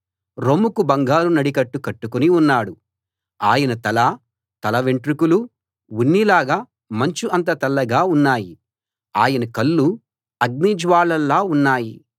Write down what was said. ఆయన తల తల వెంట్రుకలూ ఉన్నిలాగా మంచు అంత తెల్లగా ఉన్నాయి ఆయన కళ్ళు అగ్ని జ్వాలల్లా ఉన్నాయి